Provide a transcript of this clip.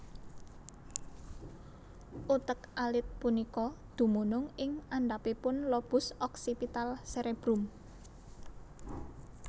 Utek alit punika dumunung ing andhapipun lobus oksipital serebrum